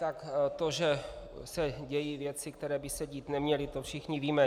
Tak to, že se dějí věci, které by se dít neměly, to všichni víme.